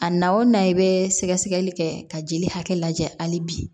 A na o na i bɛ sɛgɛsɛgɛli kɛ ka jeli hakɛ lajɛ hali bi